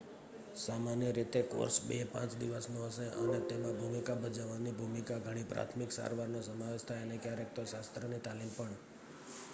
સામાન્ય રીતે કોર્સ 2-5 દિવસનો હશે અને તેમાં ભૂમિકા ભજવવાની ભૂમિકા ઘણી પ્રાથમિક સારવાર નો સમાવેશ થાય અને ક્યારેક તો શસ્ત્રની તાલીમ પણ